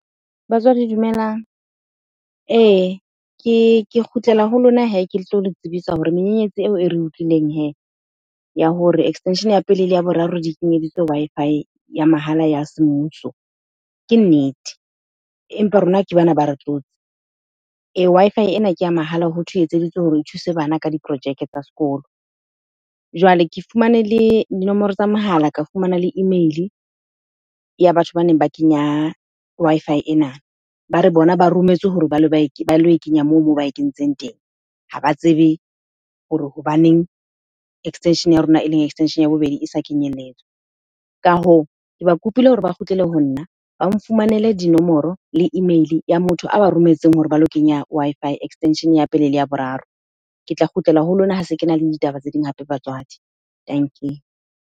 Batswadi dumelang. Ee ke kgutlela ho lona hee, ke tlo le tsebisa hore menyenyetsi eo e re utlwileng hee ya hore extension ya pele le ya boraro di kenyeditswe Wi-Fi ya mahala ya semmuso ke nnete, empa rona ke bana ba re tlotse. Wi-Fi ena ke a mahala, hothwe e etseditswe hore e thuse bana ka diprojeke tsa sekolo. Jwale ke fumane le dinomoro tsa mohala, ka fumana le email-e ya batho ba neng ba kenya Wi-Fi ena. Ba re bona ba rometswe hore ba lo e kenya moo ba e kentseng teng. Ha ba tsebe hore hobaneng extension ya rona, e leng extension ya bobedi e sa kenyelletswa. Ka hoo, ke ba kopile hore ba kgutlele ho nna, ba nfumanele dinomoro le email-e ya motho a ba rometseng hore ba lo kenya Wi-Fi extension ya pele le ya boraro. Ke tla kgutlela ho lona ha se kena le ditaba tse ding hape batswadi. Dankie.